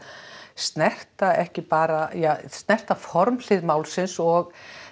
snerta ekki bara ja snerta formhlið málsins og